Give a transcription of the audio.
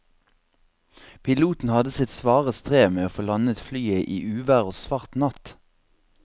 Piloten hadde sitt svare strev med å få landet flyet i uvær og svart natt.